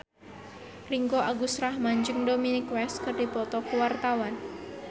Ringgo Agus Rahman jeung Dominic West keur dipoto ku wartawan